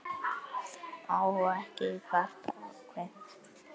Má ekki kvarta og kveina?